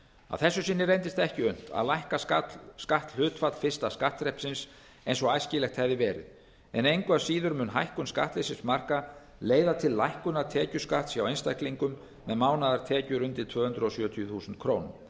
að þessu sinni reyndist ekki unnt að lækka skatthlutfall fyrsta skattþrepsins eins og æskilegt hefði verið en engu að síður mun hækkun skattleysismarka leiða til lækkunar tekjuskatts hjá einstaklingum með mánaðartekjur undir tvö hundruð sjötíu þúsund krónur